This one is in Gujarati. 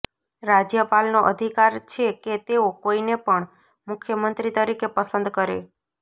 રાજ્યપાલનો અધિકાર છે કે તેઓ કોઈને પણ મુખ્યમંત્રી તરીકે પસંદ કરે